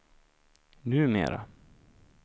numera